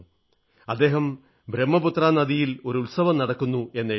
അദ്ദേഹം ബ്രഹ്മപുത്ര നദിയിൽ ഒരു ഉത്സവം നടക്കുന്നു എന്നെഴുതി